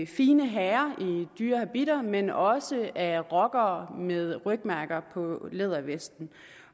fine herrer i dyre habitter men også af rockere med rygmærker på lædervesten